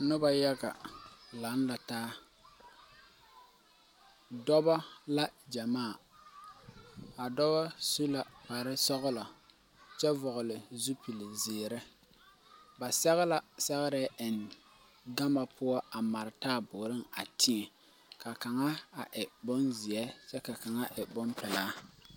Pɔlbil bata be la man noore a ɔŋnɔ kõɔ ane booterre ka ba zaa a vugpare a kyɛ ɔŋnɔ kaa ba gbɛre kang be dondoliŋ kaa kang meŋ be a kõɔŋ kyɛ ba ɔŋ ba burro a kõɔ ane a booterre ka ba bayi au kparedɔre kaa bonyeni su kpareblue kaa kaŋ boote e pilaa a ba bayi kaa kaŋ boote e blue.